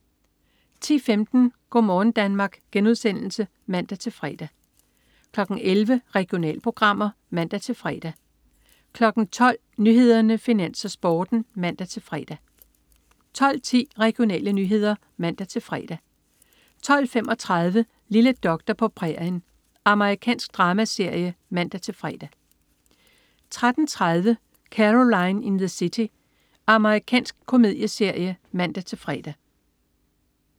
10.15 Go' morgen Danmark* (man-fre) 11.00 Regionalprogrammer (man-fre) 12.00 Nyhederne, Finans, Sporten (man-fre) 12.10 Regionale nyheder (man-fre) 12.35 Lille doktor på prærien. Amerikansk dramaserie (man-fre) 13.30 Caroline in the City. Amerikansk komedieserie (man-fre)